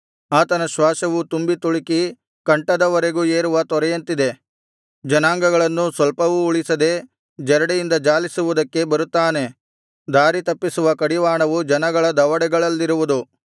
ಆತನ ಶ್ವಾಸವು ತುಂಬಿ ತುಳುಕಿ ಕಂಠದವರೆಗೂ ಏರುವ ತೊರೆಯಂತಿದೆ ಜನಾಂಗಗಳನ್ನೂ ಸ್ವಲ್ಪವೂ ಉಳಿಸದೆ ಜರಡಿಯಿಂದ ಜಾಲಿಸುವುದಕ್ಕೆ ಬರುತ್ತಾನೆ ದಾರಿತಪ್ಪಿಸುವ ಕಡಿವಾಣವು ಜನಗಳ ದವಡೆಗಳಲ್ಲಿರುವುದು